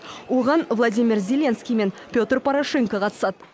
оған владимир зеленский мен петр порошенко қатысады